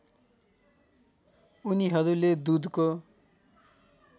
उनीहरूले दुधको